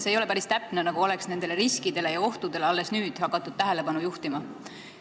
Ei ole päris täpne, nagu oleks nendele riskidele ja ohtudele hakatud tähelepanu juhtima alles nüüd.